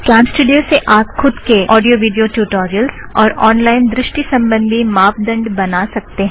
CamStudio से आप खुद के ऑडियो विडियो ट्युटोरियलस और ऑन लाइन दृष्टी सम्बंघी मापदंड़ बना सकते हैं